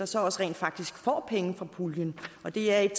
så også rent faktisk får penge fra puljen og det er et